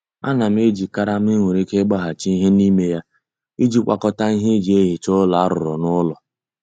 Ana m eji karama e nwere ike ịgbaghachi ihe n'ime ya iji gwakọta ihe e ji ehicha ụlọ a rụrụ n'ụlọ.